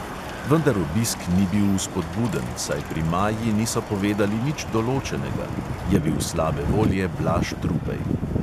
Vendar obisk ni bil vzpodbuden, saj pri maji niso povedali nič določenega," je bil slabe volje blaž trupej.